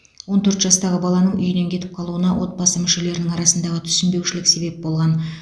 он төрт жастағы баланың үйінен кетіп қалуына отбасы мүшелерінің арасындағы түсінбеушілік себеп болған